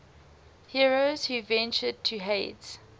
heroes who ventured to hades